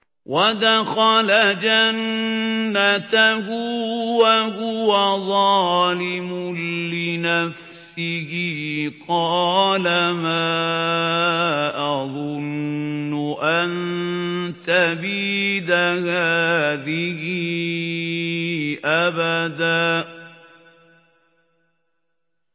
وَدَخَلَ جَنَّتَهُ وَهُوَ ظَالِمٌ لِّنَفْسِهِ قَالَ مَا أَظُنُّ أَن تَبِيدَ هَٰذِهِ أَبَدًا